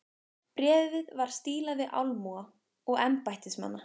Bréfið var stílað til almúga og embættismanna.